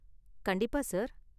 கண்டிப்பா சார்.